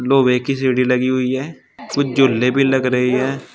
लोहे की सीढ़ी लगी हुई है कुछ झूले भी लग रहे हैं।